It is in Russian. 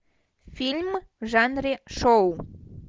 фильм в жанре шоу